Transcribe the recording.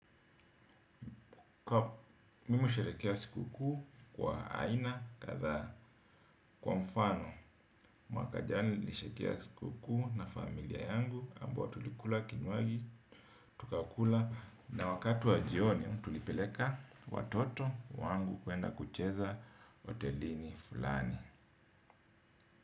Mimi husherekea siku kuu kwa aina kadhaa kwa mfano mwaka jana nilisherekea siku kuu na familia yangu ambayo tulikula kinywaji tukakula na wakati wa jioni tulipeleka watoto wangu kwenda kucheza hotelini fulani.